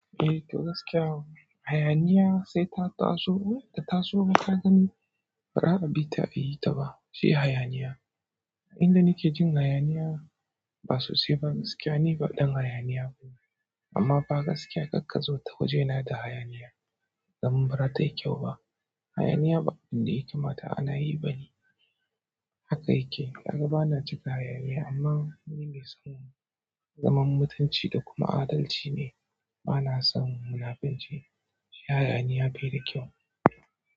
Eh, to gaskiya hayaniya sai ta taso. Inbata da taso kagani, bara kabi ta ayi ta ba, shi hayaniya. Inda nike jin hayaniya, ba sosai ba gaskiya ni ba ɗan hayaniya bane. Amma ba gaskiya kakkazo ta waje na da hayaniya. Dam bara tayi kyau ba. Hayaniya ba abunda ya kamata anayi bane haka yake kaga bana cika hayaniya amma ga waɗanda suke zaman mutunci da kuma adalci ne bana son munafunci, shi hayaniya bai da kyau.